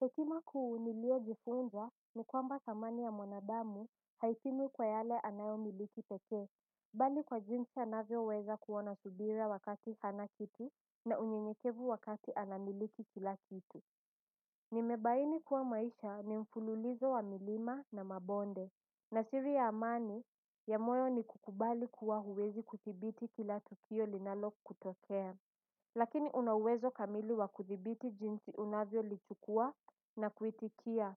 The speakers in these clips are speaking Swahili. Hekima kuu nilio jifunza ni kwamba samani ya mwanadamu haitimu kwa yale anayo miliki pekee bali kwa jinsi anavyo weza kuona subira wakati hana kitu na unyenyekevu wakati anamiliki kila kitu nimebaini kuwa maisha ni mfululizo wa milima na mabonde na siri ya amani ya moyo ni kukubali kuwa huwezi kuthibiti kila tukio linalo kutokea. Lakini una uwezo kamili wa kuthibiti jinsi unavyo lichukua na kuitikia.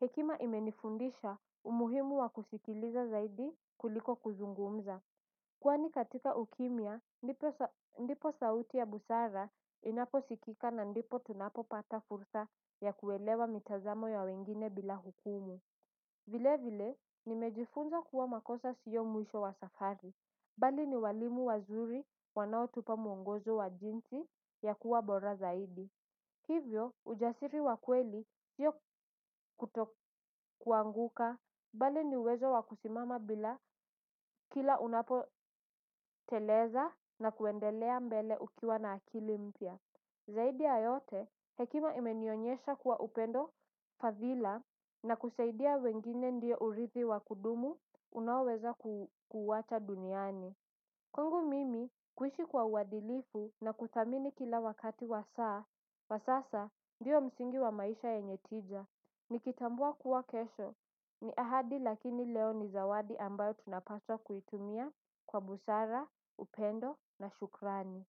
Hekima imenifundisha umuhimu wa kusikiliza zaidi kuliko kuzungumza. Kwani katika ukimya ndipo sauti ya busara inapo sikika na ndipo tunapo pata fursa ya kuelewa mitazamo ya wengine bila hukumu. Vile vile nimejifunza kuwa makosa sio mwisho wa safari. Bali ni walimu wazuri wanaotupa mwongozo wa jinsi ya kuwa bora zaidi. Hivyo, ujasiri wa kweli sio kuto kuanguka. Bali ni uwezo wa kusimama bila kila unapo teleza na kuendelea mbele ukiwa na akili mpya. Zaidi ya yote, hekima imenionyesha kuwa upendo fadhila na kusaidia wengine ndio uridhi wa kudumu unaweza kuacha duniani. Kwangu mimi kuishi kwa uadilifu na kuthamini kila wakati wa saa, wa sasa ndio msingi wa maisha yenye tija, nikitambua kuwa kesho, ni ahadi lakini leo ni zawadi ambayo tunapaswa kuitumia kwa busara, upendo na shukrani.